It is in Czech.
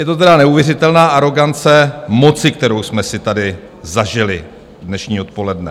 Je to tedy neuvěřitelná arogance moci, kterou jsme si tady zažili dnešní odpoledne.